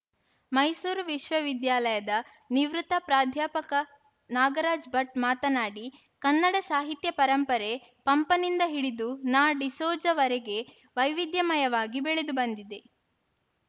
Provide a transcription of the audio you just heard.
ಮೈಸೂರು ವಿಶ್ವವಿದ್ಯಾಲಯದ ನಿವೃತ್ತ ಪ್ರಾಧ್ಯಾಪಕ ನಾಗರಾಜ್‌ ಭಟ್‌ ಮಾತನಾಡಿ ಕನ್ನಡ ಸಾಹಿತ್ಯ ಪರಂಪರೆ ಪಂಪನಿಂದ ಹಿಡಿದು ನಾಡಿಸೋಜವರೆಗೂ ವೈವಿಧ್ಯಮಯವಾಗಿ ಬೆಳೆದು ಬಂದಿದೆ